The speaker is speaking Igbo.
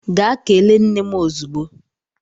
Gaa kelee nne m ozugbo!